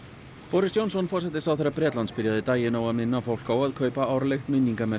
boris Johnson forsætisráðherra Bretlands byrjaði daginn á að minna fólk á að kaupa árlegt